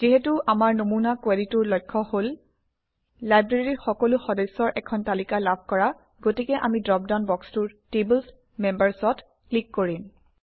যিহেতু আমাৰ নমুনা কুৱেৰিটোৰ লক্ষ্য হল লাইব্ৰেৰীৰ সকলো সদস্যৰ এখন তালিকা লাভ কৰা গতিকে আমি ড্ৰপডাউন বক্সটোৰ Tables Members অত ক্লিক কৰিম